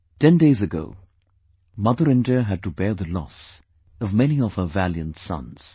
10 days ago, Mother India had to bear the loss of many of her valiant sons